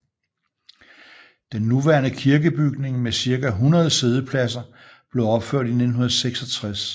Den nuværende kirkebygning med cirka 100 siddepladser blev opført i 1966